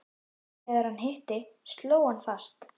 En þegar hann hitti, sló hann fast.